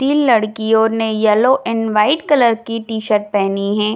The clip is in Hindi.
तीन लडकियों ने येलो एंड वाइट कलर की टी-शर्ट पेहनी हैं।